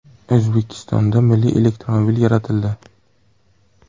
O‘zbekistonda milliy elektromobil yaratildi.